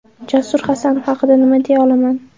Jasur Hasanov haqida nima deya olaman?